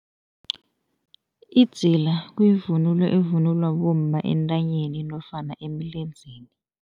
Idzila kuyivunulo evunulwa bomma entanyeni nofana emlenzeni.